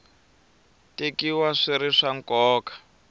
tekiwa swi ri swa nkoka